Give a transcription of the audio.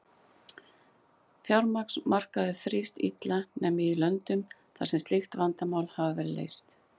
Fjármagnsmarkaður þrífst illa nema í löndum þar sem slík vandamál hafa verið leyst.